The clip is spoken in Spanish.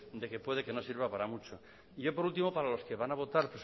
de que puede que no sirva para mucho y yo por último para los que van a votar